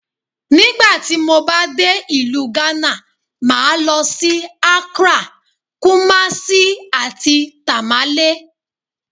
Nígbà tí mo bá dé ìlú Hánà, màá lọ sí; Akrá, Kúmásí, àti Tàmálé.